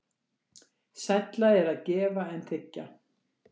Sælla er að gefa en þiggja.